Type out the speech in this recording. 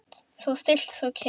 Svo stillt, svo kyrrt.